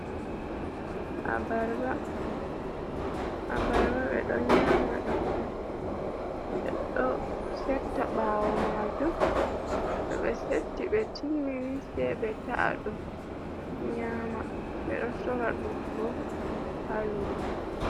Abarba ɓe ɗo nyama ɗum on, ɓe ɗo setta ɓawo majum to ɓe setti ɓe timmini se ɓe ta’a ɗum nyama, ɓe ɗo sora ɗum bo ha lumo.